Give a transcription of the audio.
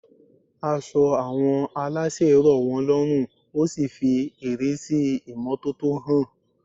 Aṣọ àwọn aláṣẹ rọ̀ wọ́n lọ́rùn ó sì fi ìrísí imọ́tótó hàn.